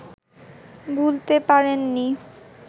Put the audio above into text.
ভুলতে পারেন নি